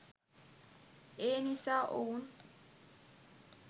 ඒනිසා ඔවුන්